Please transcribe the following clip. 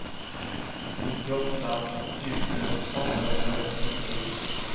nittioåtta tusen åttahundraåttiotre